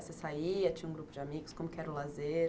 Você saía, tinha um grupo de amigos, como que era o lazer?